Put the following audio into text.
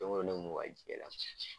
Don ko don ne mun ka de la.